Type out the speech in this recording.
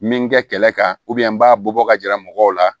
Min kɛ kɛlɛ kan u bɛn n b'a bɔ ka yira mɔgɔw la